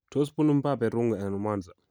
Tos bunu Mbappe Rungwe anan Mwanza ?